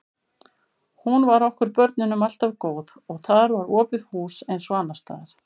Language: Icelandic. Hún var okkur börnunum alltaf góð og þar var opið hús eins og annars staðar.